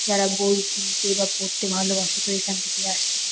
যারা বই কিনতে বা পড়তে ভালোবাসে তো এখান থেকেই আসে।